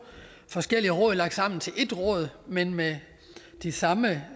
forskellige råd lagt sammen til et råd men med de samme